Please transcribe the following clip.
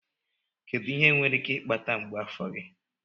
Kedu ihe nwere ike ịkpata mgbu afọ gị?